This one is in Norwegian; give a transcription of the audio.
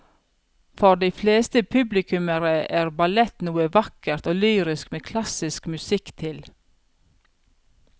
For de fleste publikummere er ballett noe vakkert og lyrisk med klassisk musikk til.